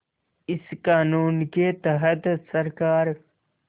इस क़ानून के तहत सरकार